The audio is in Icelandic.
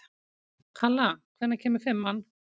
Kalla, hvenær kemur fimman?